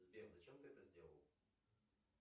сбер зачем ты это сделал